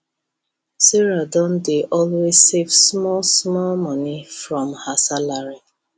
sarah don dey always save small small money from her salary